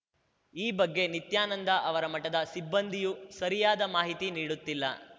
ಈ ಬಗ್ಗೆ ನಿತ್ಯಾನಂದ ಅವರ ಮಠದ ಸಿಬ್ಬಂದಿಯೂ ಸರಿಯಾದ ಮಾಹಿತಿ ನೀಡುತ್ತಿಲ್ಲ